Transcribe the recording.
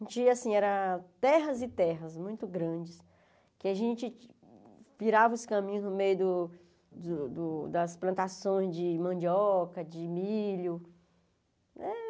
A gente ia assim, era terras e terras muito grandes, que a gente virava os caminhos no meio do do do das plantações de mandioca, de milho.